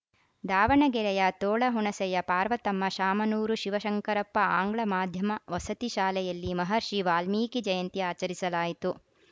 ದಾವಣಗೆರೆಯ ತೋಳಹುಣಸೆಯ ಪಾರ್ವತಮ್ಮ ಶಾಮನೂರು ಶಿವಶಂಕರಪ್ಪ ಆಂಗ್ಲ ಮಾಧ್ಯಮ ವಸತಿ ಶಾಲೆಯಲ್ಲಿ ಮಹರ್ಷಿ ವಾಲ್ಮೀಕಿ ಜಯಂತಿ ಆಚರಿಸಲಾಯಿತು